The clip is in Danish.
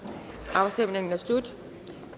afstemningen er slut en